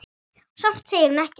Og samt segir hún ekkert.